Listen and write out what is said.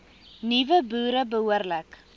nuwe boere behoorlik